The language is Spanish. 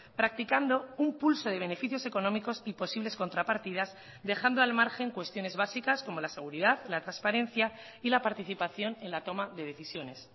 practicando un pulso de beneficios económicos y posibles contrapartidas dejando al margen cuestiones básicas como la seguridad la transparencia y la participación en la toma de decisiones